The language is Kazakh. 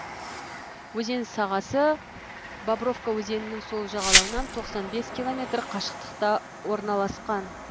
өзен сағасы бобровка өзенінің сол жағалауынан тоқсан бес километр қашықтықта орналасқан